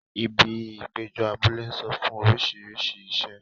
Ibi ìpéjọ abúlé ń sọ fún orísìírísìí iṣẹ́.